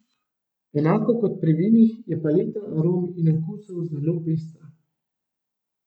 Enako kot pri vinih je paleta arom in okusov zelo pestra.